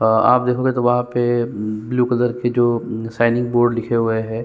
अ आप देखोगे तो वहां पे ब्लू कलर की जो साइनिंग बोर्ड लिखे हुए है।